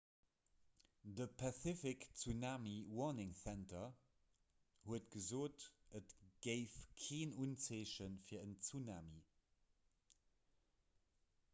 de pacific tsunami warning center huet gesot et géif keen unzeeche fir en tsunami